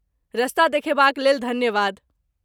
रस्ता देखेबाक लेल धन्यवाद।